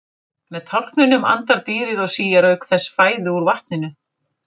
Með tálknunum andar dýrið og síar auk þess fæðu úr vatninu.